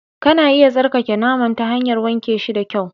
Kana iya tsarkake naman ta hanyar wanke shi da kyau